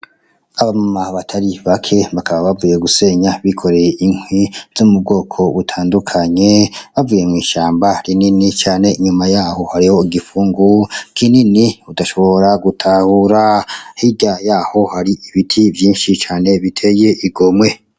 Aba mama batari bake bakaba bavuye gusenya bikoreye inkwi zo mu bwoko butandukanye bavuye mw'ishamba rinini cane inyuma yaho hariho igipfungu kinini udashobora gutahura hirya yaho hari ibiti vyinshi cane biteye igomwe.